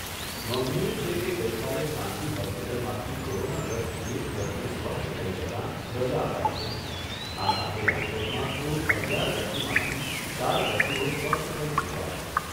નોંધનીય છે કે ગઈકાલે ખાનગી હોસ્પિટલમાંથી કોરોનાગ્રસ્ત એક દર્દી સ્વસ્થ થઈ જતાં રજા અપાઈ છે. આ સાથે રાજકોટમાં કુલ અગિયાર દર્દીમાંથી ચાર દર્દીઓ સ્વસ્થ થઈ ચૂક્યા છે.